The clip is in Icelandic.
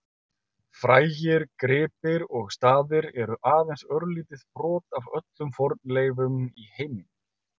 Frægir gripir og staðir eru aðeins örlítið brot af öllum fornleifum í heiminum.